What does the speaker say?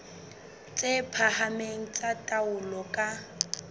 tse phahameng tsa taolo ka